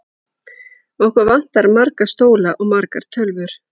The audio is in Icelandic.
Okkur vantar marga stóla og margar tölvur.